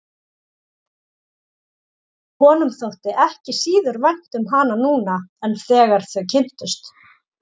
Honum þótti ekki síður vænt um hana núna en þegar þau kynntust.